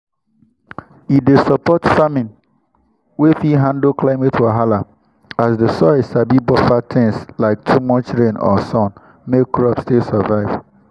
e dey support farming wey fit handle climate wahala as the soil sabi buffer things like too much rain or sun make crop still survive.